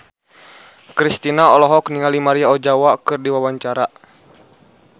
Kristina olohok ningali Maria Ozawa keur diwawancara